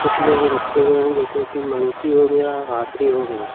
पुतले भी रखे हुए हैं जैसे कि मंकी हो गया हाथी हो गया।